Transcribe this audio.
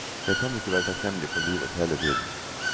Jeg kan ikke være takknemlig for livet hele tiden.